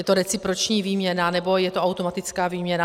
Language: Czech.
Je to reciproční výměna nebo je to automatická výměna.